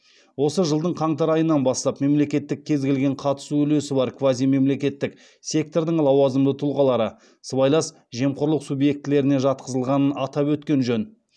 осы жылдың қаңтар айынан бастап мемлекеттік кез келген қатысу үлесі бар квазимемлекеттік сектордың лауазымды тұлғалары сыбайлас жемқорлық субъектілеріне жатқызылғанын атап өткен жөн